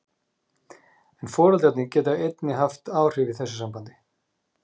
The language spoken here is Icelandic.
en foreldrarnir geta einnig haft áhrif í þessu sambandi